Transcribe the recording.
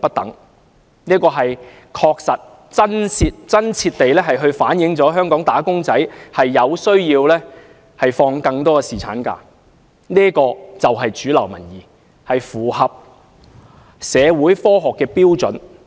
調查結果確實和真切地反映香港"打工仔"需要放取更長侍產假，這便是主流民意，亦符合社會和科學標準。